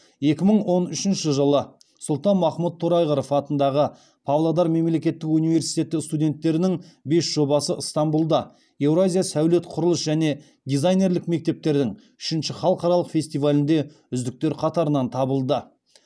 екі мың он үшінші жылы сұлтанмахмұт торайғыров атындағы павлодар мемлекеттік университеті студенттерінің бес жобасы ынтанбұлда еуразия сәулет құрылыс және дизайнерлік мектептердің үшінші халықаралық фестивалінде үздіктер қатарынан табылды